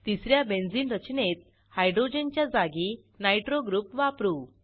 तिस या बेंझिन रचनेत हायड्रोजनच्या जागी नायट्रो ग्रुप वापरू